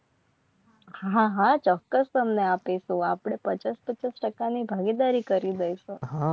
હા હા ચોક્કસ અમને આપે તો આપણે પચાસ પચાસ ટક્કા ની ભાગીદારી કરી દઈશું.